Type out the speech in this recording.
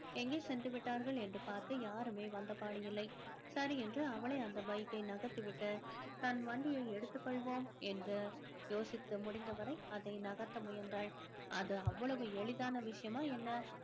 எங்கே சென்று விட்டார்கள் என்று பார்க்க யாருமே வந்த பாடு இல்லை சரி என்று அவளே அந்த bike யை நகர்த்திவிட்டு தன் வண்டியை எடுத்துக்கொள்வோம் என்று யோசித்து முடிந்தவரை அதை நகர்த்த முயன்றாள் அது அவ்வளவு எளிதான விஷயமா என்ன